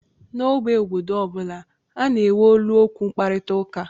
N'ógbè obodo ọ bụla, a na-enwe olu okwu mkparịta ụka